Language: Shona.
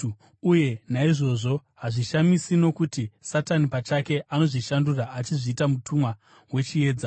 Uye naizvozvo hazvishamisi, nokuti Satani pachake anozvishandura achizviita mutumwa wechiedza.